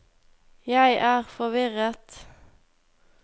jeg er forvirret